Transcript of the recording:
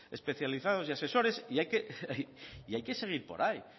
especializados y asesores y hay que seguir por ahí